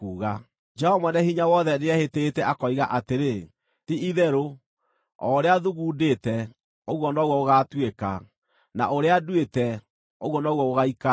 Jehova Mwene-Hinya-Wothe nĩehĩtĩte, akoiga atĩrĩ, “Ti-itherũ, o ũrĩa thugundĩte, ũguo noguo gũgaatuĩka, na ũrĩa nduĩte, ũguo noguo gũgaikara.